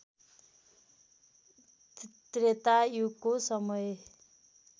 त्रेता युगको समय